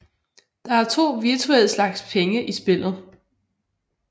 Der er 2 virtuelle slags penge i spillet